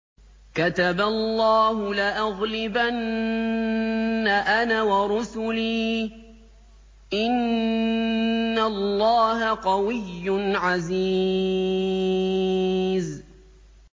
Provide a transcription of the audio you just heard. كَتَبَ اللَّهُ لَأَغْلِبَنَّ أَنَا وَرُسُلِي ۚ إِنَّ اللَّهَ قَوِيٌّ عَزِيزٌ